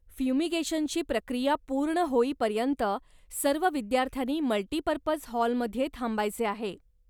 फ्युमिगेशनची प्रक्रिया पूर्ण होईपर्यंत, सर्व विद्यार्थ्यांनी मल्टीपर्पज हॉलमध्ये थांबायचे आहे.